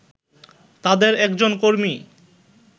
তাদের একজন কর্মী